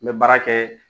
N bɛ baara kɛ